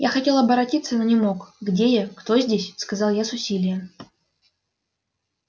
я хотел оборотиться но не мог где я кто здесь сказал я с усилием